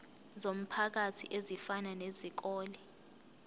zomphakathi ezifana nezikole